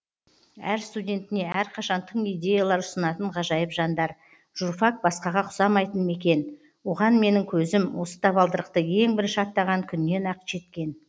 әр студентіне әрқашан тың идеялар ұсынатын ғажайып жандар журфак басқаға ұқсамайтын мекен оған менің көзім осы табалдырықты ең бірінші аттаған күннен ақ жеткен